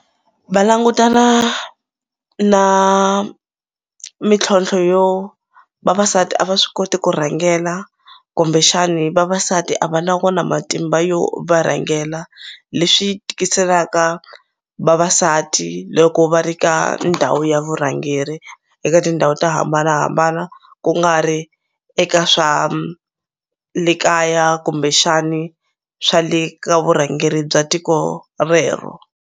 Va langutana na mintlhontlho yo vavasati a va swi koti ku rhangela kumbexani vavasati a va na wona matimba yo va rhangela leswi tikiselaka vavasati loko va ri ka ndhawu ya vurhangeri eka tindhawu to hambanahambana ku nga ri eka swa le kaya kumbexani swa le ka vurhangeri bya tiko rero.